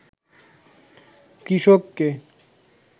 কৃষককে